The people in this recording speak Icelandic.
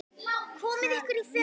Komiði ykkur í fötin.